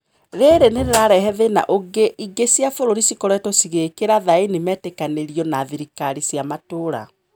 Riri nirirarehe thina ũngi: ingi cia bũrũrĩ cikoretwo cigiikira thaini metikanirio na thirikari cia matũra.